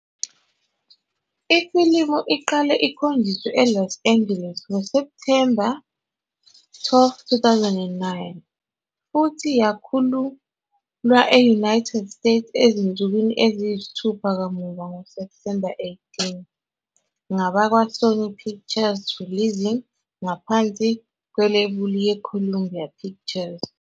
Ifilimu iqale ukukhonjiswa e-Los Angeles ngoSepthemba 12, 2009, futhi yakhululwa e-United States ezinsukwini eziyisithupha kamuva ngoSepthemba 18 ngabakwaSony Pictures Releasing ngaphansi kwelebula ye-Columbia Pictures.